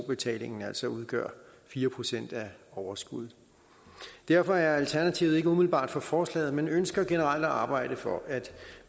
betalingen altså udgør fire procent af overskuddet derfor er alternativet ikke umiddelbart for forslaget men ønsker generelt at arbejde for at